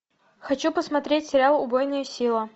хочу посмотреть сериал убойная сила